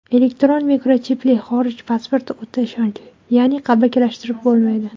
Elektron mikrochipli xorij pasporti o‘ta ishonchli, ya’ni qalbakilashtirib bo‘lmaydi.